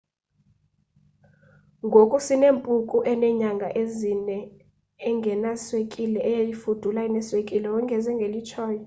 ngoku sinempunku enenyanga ezine engenaswekile eyayifudula ineswekile wongeze ngelitshoyo